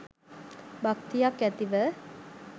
භක්තියක් ඇතිව